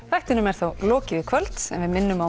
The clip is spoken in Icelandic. þættinum er þá lokið í kvöld en við minnum á